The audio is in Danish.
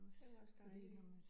Det jo også dejligt